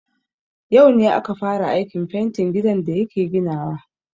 Yau ne aka fara aikin fentin gidan da yake ginawa.